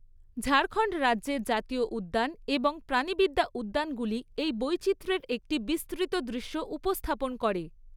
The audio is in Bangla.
ঝাড়খন্ড রাজ্যের জাতীয় উদ্যান এবং প্রাণীবিদ্যা উদ্যানগুলি এই বৈচিত্র্যের একটি বিস্তৃত দৃশ্য উপস্থাপন করে।